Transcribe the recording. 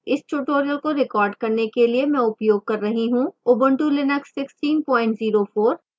इस tutorial को record करने के लिए मैं उपयोग कर रही हूँ ubuntu linux 1604